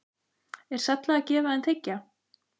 Er sælla að gefa en þiggja?